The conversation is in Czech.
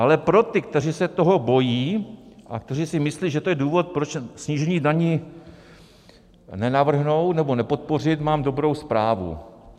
Ale pro ty, kteří se toho bojí a kteří si myslí, že to je důvod, proč snížení daní nenavrhnout nebo nepodpořit, mám dobrou zprávu.